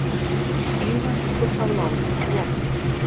Iðan liggur þá lárétt í lakinu.